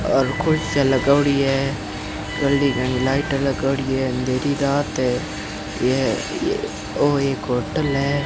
और कुर्सियां लगोडी है गली गड़ी लाइट लगौड़ी है अंधेरी रात है यह वो एक होटल है।